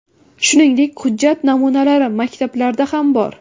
Shuningdek, hujjat namunalari maktablarda ham bor.